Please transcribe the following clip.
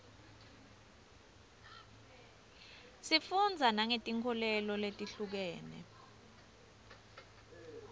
sifundza nangetinkholelo letihlukile